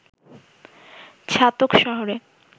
ছাতক শহরে